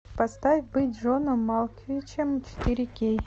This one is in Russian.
поставь быть джоном малковичем четыре кей